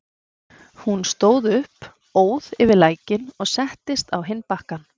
Hún stóð upp, óð yfir lækinn og settist á hinn bakkann.